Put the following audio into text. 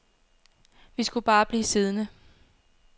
Vi skulle bare blive siddende.